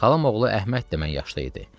Xalam oğlu Əhməd də mənnən yaşda idi.